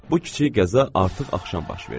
Bu kiçik qəza artıq axşam baş verdi.